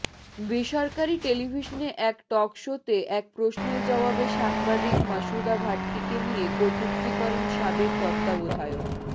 বেসরকারি টেলিভিশনে এক টকশোতে এক প্রশ্নের জবাবে সাংবাদিক মাসুদা ভাট্টিকে নিয়ে কটূক্তি করেন সাবেক তত্ত্বাবধায়ক